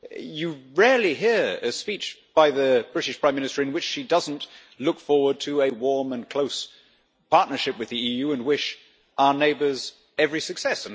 You rarely hear a speech by the British Prime Minister in which she does not look forward to a warm and close partnership with the EU and wish our neighbours every success.